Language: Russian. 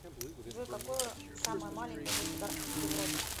джой какое самое маленькое государство в европе